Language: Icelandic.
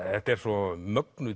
svo mögnuð